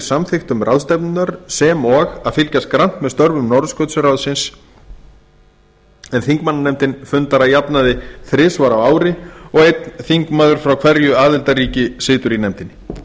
samþykktum ráðstefnunnar sem og að fylgjast grannt með störfum norðurskautsráðsins en þingmannanefndin fundar að jafnaði þrisvar á ári og einn þingmaður frá hverju aðildarríki situr í nefndinni